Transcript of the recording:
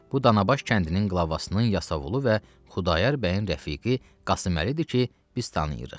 Bu Danabaş kəndinin qılavasının yasavulu və Xudayar bəyin rəfiqi Qasım Əlidir ki, biz tanıyırıq.